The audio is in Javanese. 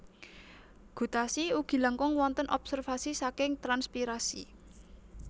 Gutasi ugi langkung wontén obsérvasi saking transpiirasi